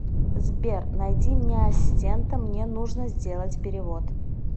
сбер найди мне ассистента мне нужно сделать перевод